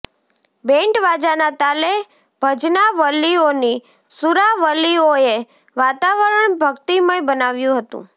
band વાજાના તાલે ભજનાવલિઓની સુરાવલીઓએ વાતાવરણ ભકિતમય બનાવ્યુ હતુ